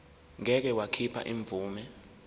ngeke wakhipha imvume